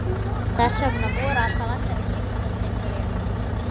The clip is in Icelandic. Þess vegna voru alltaf allir að giftast einhverjum.